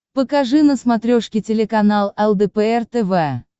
покажи на смотрешке телеканал лдпр тв